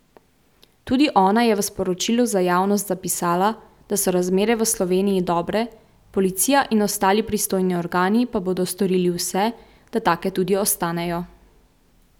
Tudi ona je v sporočilu za javnost zapisala, da so razmere v Sloveniji dobre, policija in ostali pristojni organi pa bodo storili vse, da take tudi ostanejo.